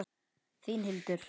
Þín Hildur.